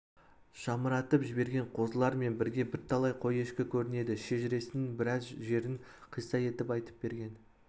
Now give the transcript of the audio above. жамыратып жіберген қозылар мен бірге бірталай қой-ешкі көрінеді шежіресінің біраз жерін қисса етіп айтып берген